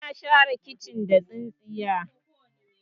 ana share kicin da tsintsiya